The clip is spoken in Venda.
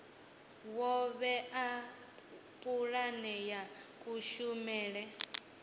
wo vhea pulane ya kushumele